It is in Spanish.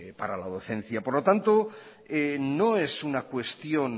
para la docencia por lo tanto no es una cuestión